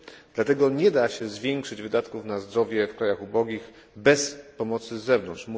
Dlatego nie da się zwiększyć wydatków na zdrowie w krajach ubogich bez pomocy z zewnątrz